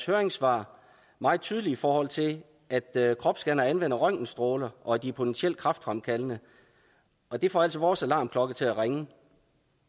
høringssvar meget tydelig i forhold til at at kropsscannere anvender røntgenstråler og at de er potentielt kræftfremkaldende og det får altså vores alarmklokke til at ringe